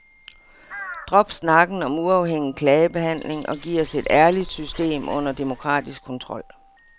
Drop snakken om uafhængig klagebehandling og giv os et ærligt system under demokratisk kontrol.